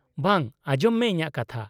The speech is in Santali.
-ᱵᱟᱝ, ᱟᱸᱡᱚᱢ ᱢᱮ ᱤᱧᱟᱹᱜ ᱠᱟᱛᱷᱟ ᱾